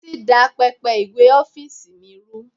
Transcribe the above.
Títí dá pẹpẹ ìwé ọ́fíìsì mi rú.